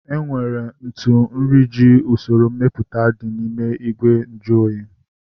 Enwere ntụ nri ji eji usoro mepụta dị n'ime ìgwè nju oyi